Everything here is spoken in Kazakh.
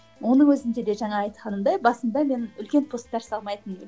оның өзінде де жаңағы айтқанымдай басында мен үлкен постар салмайтынмын